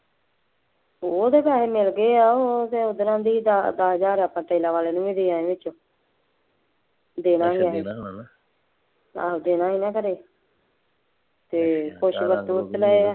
ਉਹ ਤਾਂ ਪੈਸੇ ਮਿਲ ਗਏ ਹੈ, ਉਹ ਤੇ ਉਸ ਤਰ੍ਹਾਂ ਦੀ ਦਸ ਬਾਰਾਂ ਹਜ਼ਾਰ ਆਪਾਂ ਟਾਈਲਾਂ ਵਾਲੇ ਨੂੰ ਵੀ ਦੇ ਆਏ ਹਾਂ ਦੇ ਦਾਂ ਗੇ, ਆਹੋ ਦੇਣਾ ਨਹੀਂ ਨਾ ਘਰੇ, ਅਤੇ ਕੁੱਛ